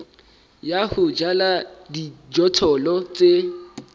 ya ho jala dijothollo tse